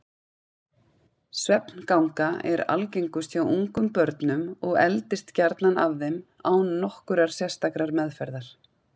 Svefnganga er algengust hjá ungum börnum og eldist gjarnan af þeim án nokkurrar sérstakrar meðferðar.